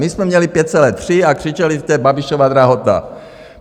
My jsme měli 5,3 a křičeli jste: Babišova drahota!